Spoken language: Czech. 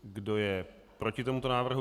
Kdo je proti tomuto návrhu?